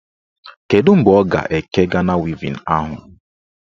Kedụ mgbe ọ ga-eke Gana wevin ahụ?